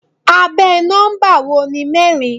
Abẹ́ nọ́mbà wo ni mẹ́rin?